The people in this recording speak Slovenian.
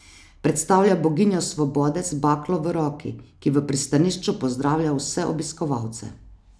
Predstavlja boginjo svobode z baklo v roki, ki v pristanišču pozdravlja vse obiskovalce.